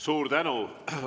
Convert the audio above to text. Suur tänu!